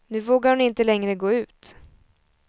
Nu vågar hon inte längre gå ut.